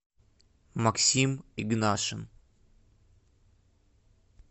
максим игнашин